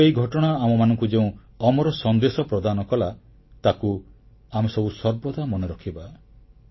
କିନ୍ତୁ ଏହି ଘଟଣା ଆମମାନଙ୍କୁ ଯେଉଁ ଅମର ସନ୍ଦେଶ ପ୍ରଦାନ କଲା ତାକୁ ଆମେ ସବୁ ସର୍ବଦା ମନେ ରଖିବା